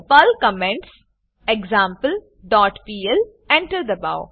Perl comments example dot PL enter દબાઓ